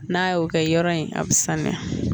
N'a y'o kɛ yɔrɔ in a bi sanuya